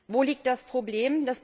Wo liegt das Problem?